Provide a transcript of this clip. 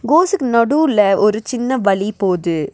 கோசுக்கு நடுவுல ஒரு சின்ன வழி போது.